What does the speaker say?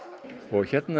hérna